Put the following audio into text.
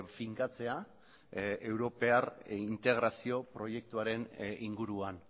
finkatzea europear integrazio proiektuaren inguruan